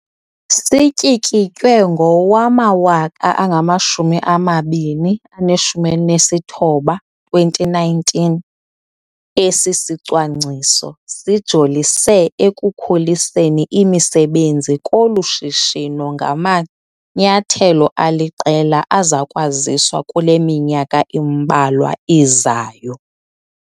Sityikitywe ngowama-2019, esi sicwangciso sijolise ekukhuliseni imisebenzi kolu shishino ngamanyathelo aliqela azakwaziswa kule minyaka imbalwa izayo.